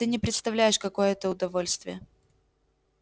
ты не представляешь какое это удовольствие